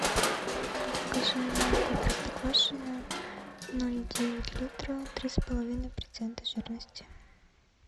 закажи молоко простоквашино ноль девять литра три с половиной процента жирности